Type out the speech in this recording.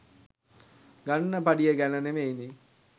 ගන්න පඩිය ගැන නෙවෙයිනේ